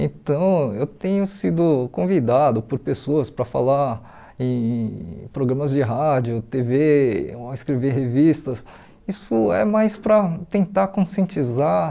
Então, eu tenho sido convidado por pessoas para falar em programas de rádio, tê vê, escrever revistas, isso é mais para tentar conscientizar